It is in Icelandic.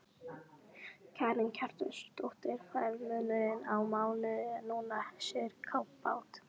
Karen Kjartansdóttir: Hvað er munurinn á mánuði núna, sirkabát?